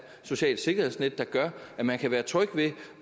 socialt sikkerhedsnet der gør at man kan være tryg ved